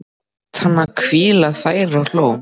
Lét hana hvíla þar og hló.